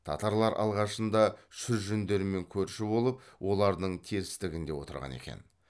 татарлар алғашында шүржендермен көрші болып олардың терістігінде отырған екен